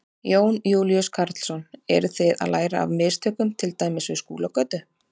Jón Júlíus Karlsson: Eru þið að læra af mistökum til dæmis við Skúlagötu?